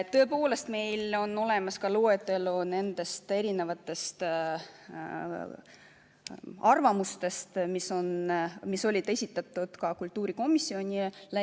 Tõepoolest, meil on olemas loetelu nendest erinevatest arvamustest, mis olid esitatud ka kultuurikomisjonile.